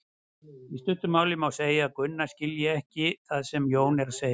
Í stuttu máli má segja að Gunna skilji ekki það sem Jón er að segja.